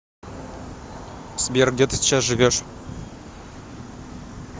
сбер где ты сейчас живешь